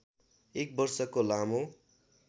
एक वर्षको लामो